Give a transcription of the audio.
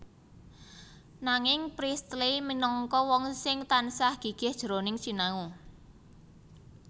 Nanging Priestley minangka wong sing tansah gigih jroning sinau